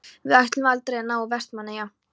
Við ætluðum aldrei að ná til Vestmannaeyja.